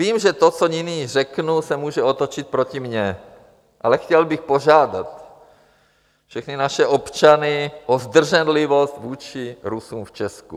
Vím, že to, co nyní řeknu, se může otočit proti mně, ale chtěl bych požádat všechny naše občany o zdrženlivost vůči Rusům v Česku.